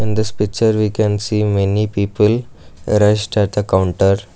in this picture we can see many people rest at the counter.